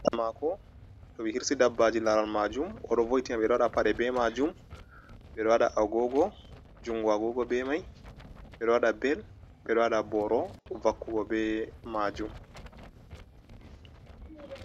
Amako to ɓe hirsi dabbaji laral majum oro voitiam bedo waɗa paɗe be majum bedo wada agogo jungo agogo be mai ɓeɗo waɗa bel ɓeɗo waɗa boro vakkugo be majum.